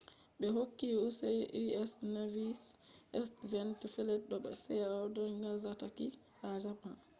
be hokki u.s. navy`s seventh fleet be do seabo nagasaki ha japan